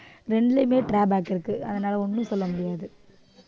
ரெண்டுலையுமே drawback இருக்கு அதனால ஒண்ணும் சொல்ல முடியாது